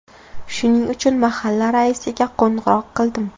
Shuning uchun mahalla raisiga qo‘ng‘iroq qildim.